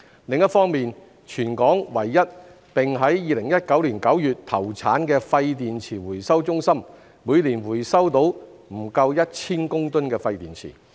另一方面，全港唯一並於2019年9月投產的廢電池回收中心每年回收到不足1000公噸的廢電池。